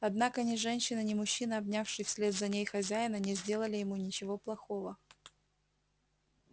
однако ни женщина ни мужчина обнявший вслед за ней хозяина не сделали ему ничего плохого